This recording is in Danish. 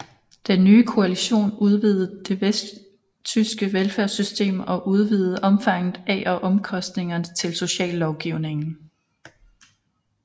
Den nye koalition udvidede det vesttyske velfærdssystem og udvidede omfanget af og omkostningerne til sociallovgivningen